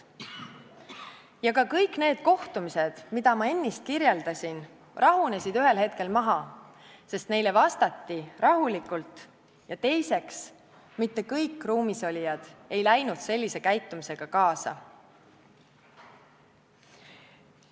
Ja ka kõik need kohtumised, mida ma ennist kirjeldasin, rahunesid ühel hetkel maha, sest neile vastati rahulikult, ja teiseks, mitte kõik ruumis olijad ei läinud sellise käitumisega kaasa.